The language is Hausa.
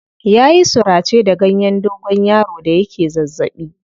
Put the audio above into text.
Ya yi surace da ganyen dogonyaro da yake zazzaɓi.